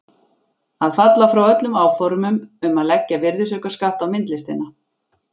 Að falla frá öllum áformum um að leggja virðisaukaskatt á myndlistina!